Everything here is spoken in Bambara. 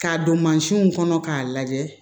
K'a don mansinw kɔnɔ k'a lajɛ